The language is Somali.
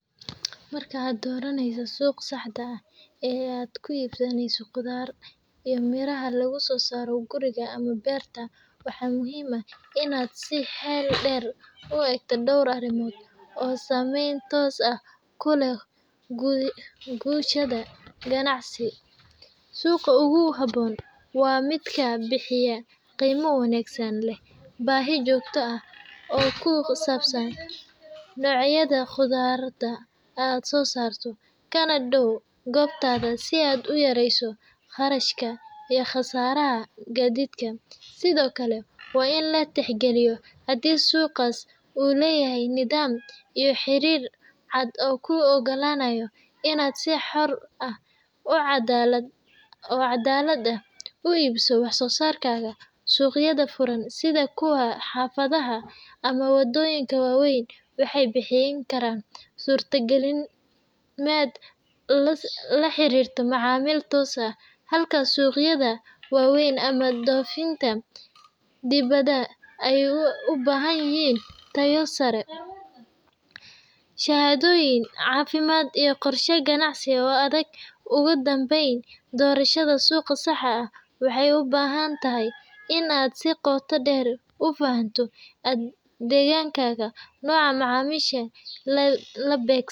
Marka aa doraneysa suq saxda ah ee aad ku ibsaneysa qudhaar beeraha laguso saro guriga waxaa muhiim ah in aad u egto dor arimood oo samen tos ah kuleh gushaada ganacsi suqa ugu habon waa miidka bixiya qima wanagsan leh bahi jogto ah oo kusabsan noyaada muqdo iyo qasaraha gadiidka hadii suqas u leyahay nidham iyo xirir caad oo ku ogolanaya in si xor oo cadalad ah u ibsato waxso sarkaga suqyaada furan ee xafadaha ama wadoyinka wawen waxee bixin kara surta galin laxirito macamil tosan halka suqyaada wawen ama dofinta, shahadoyin cafimaad iyo qorsha ganacsi oo adag ugu danben waxee u bahantahy in aa si qota deer ufahato degankaga noca macamisha la begto.